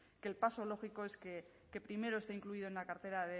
que el paso lógico es que primero esté incluido en la cartera